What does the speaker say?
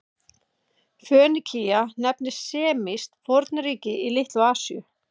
Fönikía nefndist semískt fornríki í Litlu-Asíu.